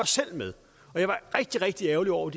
selv med og jeg var rigtig rigtig ærgerlig over